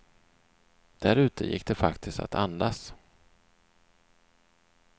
Där ute gick det faktiskt att andas.